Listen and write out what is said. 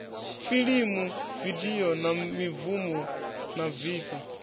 filimu vidio na mibvumo nafvsa